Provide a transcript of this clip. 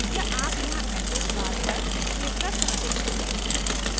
या आप यहाँ address bar पर click कर सकते हैं